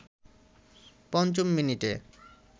পঞ্চম মিনিটে